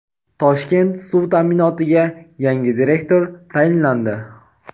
"Toshkent suv ta’minoti"ga yangi direktor tayinlandi.